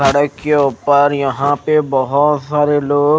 सड़क के उपर यहा बहोत सारे लोग--